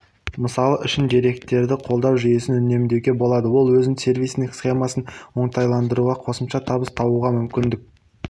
мысал үшін деректерді қолдау жүйесін үнемдеуге болады ол өз сервисіңнің схемасын оңтайландыруға қосымша табыс табуға мүмкіндік